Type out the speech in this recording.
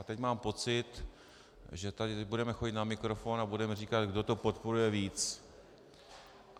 A teď mám pocit, že tady budeme chodit na mikrofon a budeme říkat, kdo to podporuje víc.